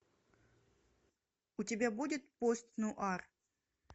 у тебя будет пост нуар